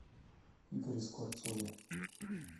игоре скворцове